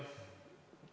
Aitäh küsimuse eest!